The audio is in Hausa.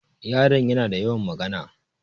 Yaron yana da yawan magana.